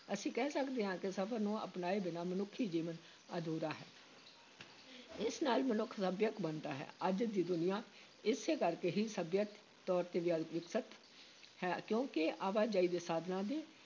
ਅਸੀਂ ਕਹਿ ਸਕਦੇ ਹਾਂ ਕਿ ਸਫ਼ਰ ਨੂੰ ਅਪਣਾਏ ਬਿਨਾਂ ਮਨੁੱਖੀ ਜੀਵਨ ਅਧੂਰਾ ਹੈ ਇਸ ਨਾਲ ਮਨੁੱਖ ਸੱਭਿਅਕ ਬਣਦਾ ਹੈ, ਅੱਜ ਦੀ ਦੁਨੀਆ ਇਸੇ ਕਰਕੇ ਹੀ ਸਭਿਅਕ ਤੌਰ ‘ਤੇ ਵਿ ਵਿਕਸਿਤ ਹੈ, ਕਿਉਂਕਿ ਆਵਾਜਾਈ ਦੇ ਸਾਧਨਾਂ ਦੇ